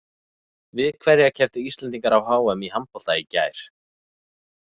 Við hverja kepptu Íslendingar á HM í handbolta í gær?